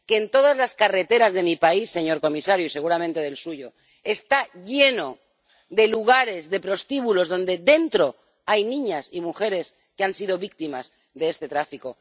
Todas las carreteras de mi país, señor comisario y seguramente del suyo—, están llenas de lugares, de prostíbulos dentro de los cuales hay niñas y mujeres que han sido víctimas de este tráfico.